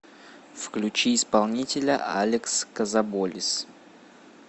включи исполнителя алекс козоболис